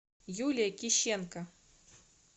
юлия кищенко